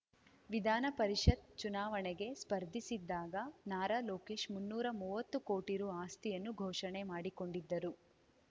ವಿಧಾನ ಪರಿಷತ್‌ ಚುನಾವಣೆಗೆ ಸ್ಪರ್ಧಿಸಿದ್ದಾಗ ನಾರಾ ಲೋಕೇಶ್‌ ಮುನ್ನೂರಾ ಮುವತ್ತು ಕೋಟಿ ರು ಆಸ್ತಿಯನ್ನು ಘೋಷಣೆ ಮಾಡಿಕೊಂಡಿದ್ದರು